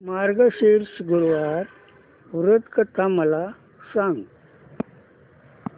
मार्गशीर्ष गुरुवार व्रत कथा मला सांग